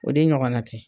O de ɲɔgɔnna tɛ